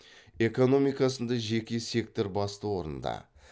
экономикасында жеке сектор басты орында